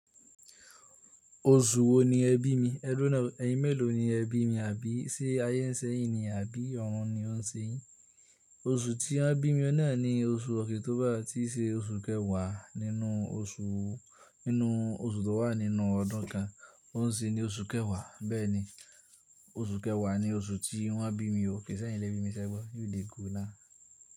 Oṣù wo ni ẹ bí mi? Ẹdúró ná o ẹyin mélòó ni ẹ bí mi? Àbí sé ayé nsẹ́yìn ni àbí ọ̀run ni ọ n se yín? Oṣù tí wọ́n bí mi na ni oṣù ọkìtóbà ti ṣe oṣù kẹwàá nínú oṣù, nínú oṣù tó wà nínú ọdún kan. Ọ n sí ni oṣù kẹwàá. Bẹ́ẹ̀ni, oṣù kẹwàá ni oṣù tí wọ́n bí mi. Ókè sẹ́yìn lẹ bí mi sẹ́gbọ́. You dey go now.